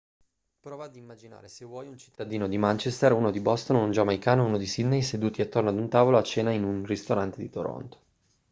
prova ad immaginare se vuoi un cittadino di manchester uno di boston un giamaicano e uno di sydney seduti attorno ad un tavolo a cena in un ristorante di toronto